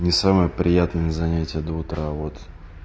не самые приятные занятия до утра вот